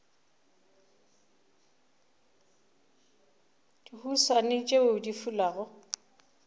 le dihuswane tšeo di fulago